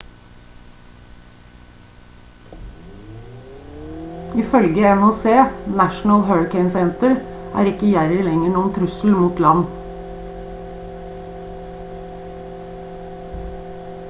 ifølge nhc national hurricane center er ikke jerry lenger noen trussel mot land